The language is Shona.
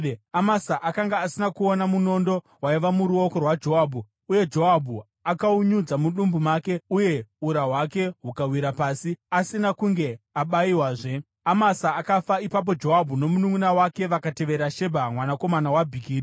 Amasa akanga asina kuona munondo waiva muruoko rwaJoabhu, uye Joabhu akaunyudza mudumbu make, uye ura hwake hukawira pasi. Asina kunge abayiwazve, Amasa akafa. Ipapo Joabhu nomununʼuna wake vakatevera Shebha mwanakomana waBhikiri.